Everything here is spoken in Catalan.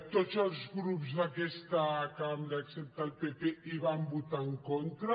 tots els grups d’aquesta cambra excepte el pp hi van votar en contra